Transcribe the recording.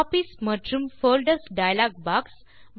copies மற்றும் folders dialog box